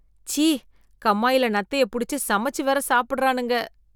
ச்சீ கம்மாயில நத்தைய புடிச்சு சமைச்சு வேற சாப்பிடறானுங்க.